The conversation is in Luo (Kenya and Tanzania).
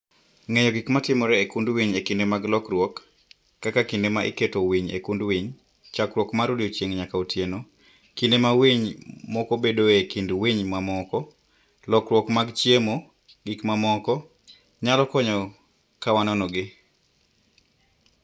Ng'eyo gik matimore e kund winy e kinde mag lokruok (kaka kinde ma iketo winy e kund winy, chakruok mar odiechieng' nyaka otieno, kinde ma winy moko bedoe e kind winy mamoko, lokruok mag chiemo, gi mamoko) nyalo konyo ka wanonogi